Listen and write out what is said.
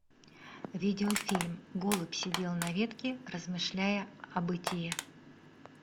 видеофильм голубь сидел на ветке размышляя о бытие